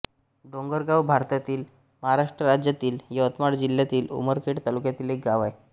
डोंगरगाव हे भारतातील महाराष्ट्र राज्यातील यवतमाळ जिल्ह्यातील उमरखेड तालुक्यातील एक गाव आहे